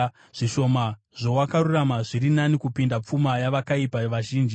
Zvishoma zvowakarurama zviri nani kupinda pfuma yavakaipa vazhinji;